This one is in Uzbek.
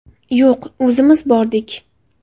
Yo‘q, o‘zimiz bordik.